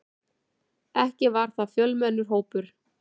Ekki var það fjölmennur hópur.